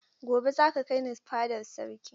Gobe, za ka kai ni fadar sarki!